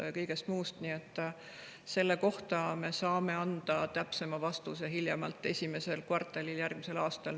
Nii et selle kohta, millised on Eestis ettepanekud bürokraatia vähendamiseks ettevõtluses, me saame anda täpsema vastuse hiljemalt esimeses kvartalis järgmisel aastal.